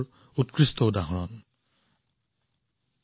মই আপোনাক অনুৰোধ জনাইছো আপুনিও এই মেলাৰ বিষয়ে পঢ়ক আৰু জানক